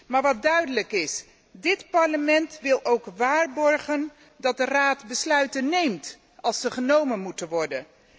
Maar dit Parlement wil ook waarborgen dat de Raad besluiten neemt als ze genomen moeten worden.